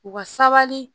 U ka sabali